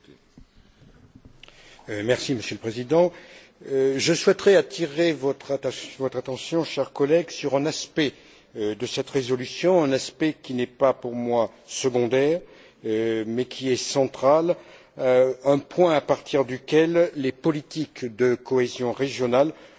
Monsieur le Président, je souhaiterais attirer votre attention, chers collègues, sur un aspect de cette résolution, un aspect qui n'est pas pour moi secondaire, mais qui est central, un point à partir duquel les politiques de cohésion régionale pourront prendre tout leur sens.